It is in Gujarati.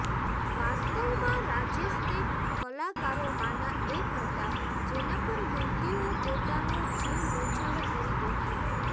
વાસ્તવમાં રાજેશ તે કલાકારોમાંના એક હતા જેના પર યુવતીઓ પોતાનો જીવ ન્યોછાવર કરી દેતી હતી